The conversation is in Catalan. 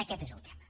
aquest és el tema